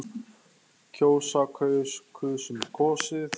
kjósa- kaus- kusum- kosið